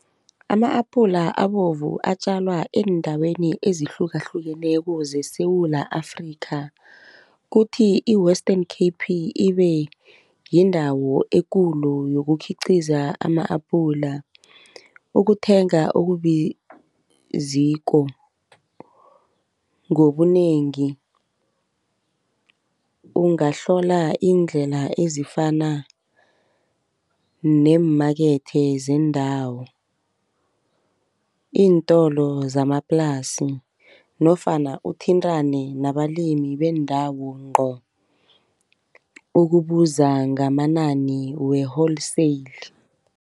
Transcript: Ama-apula abovu atjalwa eendaweni ezihlukahlukeneko zeSewula Afrika. Kuthi i-Western Cape ibe yindawo ekulu yokukhiqiza ama-apula. Ukuthenga okubiziko ngobunengi ungahlola iindlela ezifana neemakethe zeendawo, iintolo zamaplasi nofana uthintane nabalimi bendawo ngco ukubuza ngamanani we-wholesale.